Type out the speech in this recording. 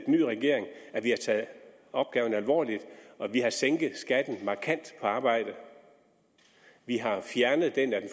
nye regering har taget opgaven alvorligt at vi har sænket skatten på arbejde at vi har fjernet den af